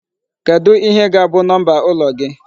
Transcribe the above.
Kedụ ihe ga-abụ number ụlọ gị?